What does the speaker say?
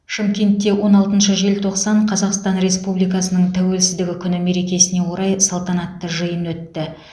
шымкентте он алтыншы желтоқсан қазақстан республикасының тәуелсіздігі күні меркесіне орай салтанатты жиын өтті